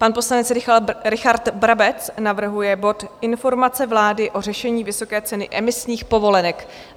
Pan poslanec Richard Brabec navrhuje bod Informace vlády o řešení vysoké ceny emisních povolenek.